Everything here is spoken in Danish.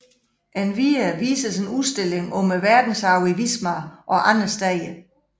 Endvidere vises en udstilling om verdensarven i Wismar og andre steder